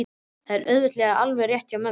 Þetta er auðvitað alveg rétt hjá mömmu.